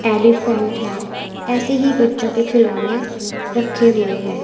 Elephant है ऐसे ही बच्चों के खिलौने रखे हुए हैं।